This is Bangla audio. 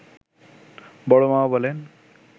বড় মামা বলেন